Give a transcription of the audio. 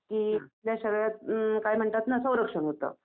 शरीरात काय म्हणतात ना संरक्षण होतं.